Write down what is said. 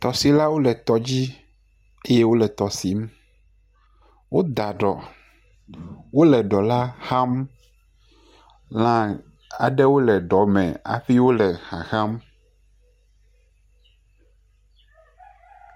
Tɔsilawo le tɔ dzi eye wole tɔ sim, wo da ɖɔ wole ɖɔ la xam , lã aɖewo le ɖɔ me hafi wole xaxa.